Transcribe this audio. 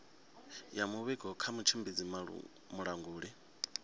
ya muvhigo kha mutshimbidzi mulanguli